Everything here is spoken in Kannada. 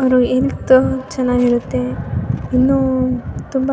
ಅವ್ರ ಹೆಲ್ತ್ ಚೆನಾಗಿರುತ್ತೆ ಇನ್ನು ತುಂಬ